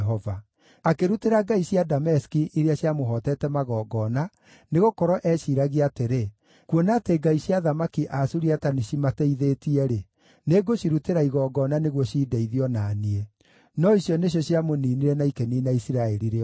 Akĩrutĩra ngai cia Dameski iria ciamũhootete magongona, nĩgũkorwo eeciiragia atĩrĩ, “Kuona atĩ ngai cia athamaki a Suriata nĩcimateithĩtie-rĩ, nĩngũcirutĩra igongona nĩguo cindeithie o na niĩ.” No icio nĩcio ciamũniinire na ikĩniina Isiraeli rĩothe.